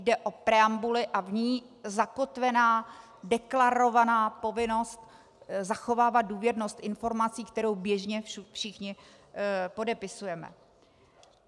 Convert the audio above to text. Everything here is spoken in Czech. Jde o preambuli a v ní zakotvená deklarovaná povinnost zachovávat důvěrnost informací, kterou běžně všichni podepisujeme.